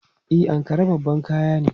E, Ankara babban kaya ne.